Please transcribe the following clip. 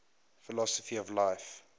philosophy of life